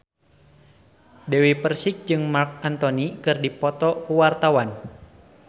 Dewi Persik jeung Marc Anthony keur dipoto ku wartawan